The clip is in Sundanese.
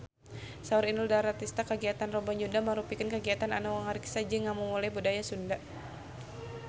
Saur Inul Daratista kagiatan Rebo Nyunda mangrupikeun kagiatan anu ngariksa jeung ngamumule budaya Sunda